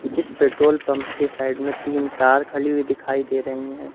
जिस petrol pump के side में तीन कार खड़ी हुई दिखाई दे रही हैं।